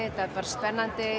og bara spennandi